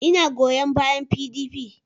Ina goyon bayan PDP